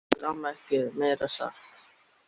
Svo gat amma ekkert meira sagt.